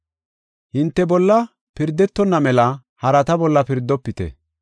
“Hinte bolla pirdetonna mela harata bolla pirdofite.